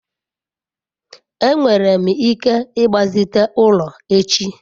enwere m ike igbazite ulo echi?